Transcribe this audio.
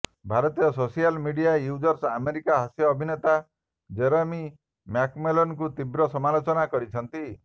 ଭାରତୀୟ social media user America ହାସ୍ୟ ଅଭିନେତା ଜେରେମୀ ମ୍ୟାକଲେଲାନଙ୍କୁ ତୀବ୍ର ସମାଲୋଚନା କରିଛନ୍ତି